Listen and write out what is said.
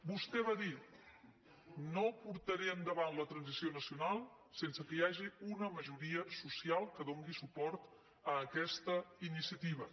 vostè va dir no portaré endavant la transició nacional sense que hi hagi una majoria social que doni suport a aquesta iniciativa